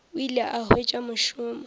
o ile a hwetša mošomo